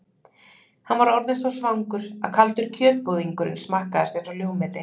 Hann var orðinn svo svangur að kaldur kjötbúðingurinn smakkaðist einsog ljúfmeti.